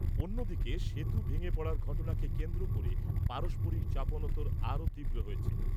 অন্যদিকে, সেতু ভেঙে পড়ার ঘটনাকে কেন্দ্র করে পারস্পরিক চাপানোতোর আরও তীব্র হয়েছে।